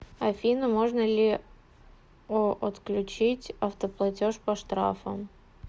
афина можно ли о отключить автоплатеж по штрафам